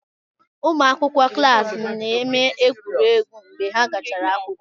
Ụmụ akwụkwọ klaasi na-eme egwuregwu mgbe ha gachara akwụkwọ.